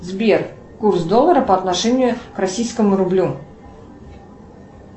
сбер курс доллара по отношению к российскому рублю